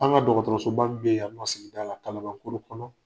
An ka mun be yan, an ka sigida la kalaban koro kɔnɔ